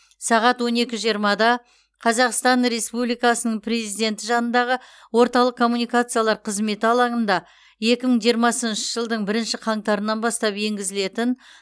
сағат он екі жиырмада қазақстан республикасының президенті жанындағы орталық коммуникациялар қызметі алаңында куі мың жиырмасыншы жылдың бірінші қаңтарынан бастап енгізілетін